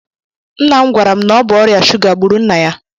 Nna m gwara m na ọ bụ ọrịa shuga gburu nna ya